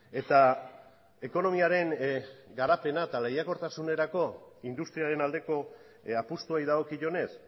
eta ekonomiaren garapena eta lehiakortasunerako industriaren aldeko apustuari dagokionez